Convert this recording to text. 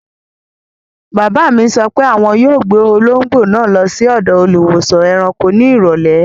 Bàbá mi sọ pé àwọn yóò gbé olóńgbò náà lọ sí ọ̀dọ̀ Olùwósàn-ẹranko ní ìrọ̀lẹ́.